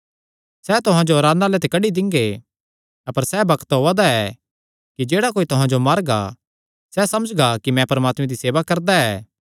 सैह़ तुहां जो आराधनालयां ते कड्डी दिंगे अपर सैह़ बग्त ओआ दा ऐ कि जेह्ड़ा कोई तुहां जो मारगा सैह़ समझगा कि मैं परमात्मे दी सेवा करदा ऐ